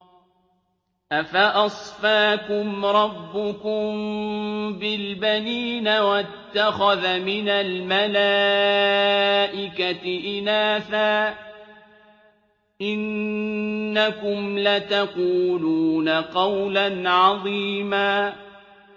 أَفَأَصْفَاكُمْ رَبُّكُم بِالْبَنِينَ وَاتَّخَذَ مِنَ الْمَلَائِكَةِ إِنَاثًا ۚ إِنَّكُمْ لَتَقُولُونَ قَوْلًا عَظِيمًا